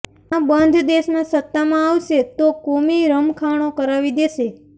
આ બધ દેશમાં સત્તામાં આવશે તો કોમી રમખાણો કરાવી દેશે